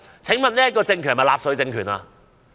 請問這個政權是納粹政權嗎？